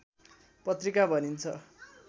पत्रिका भनिन्छ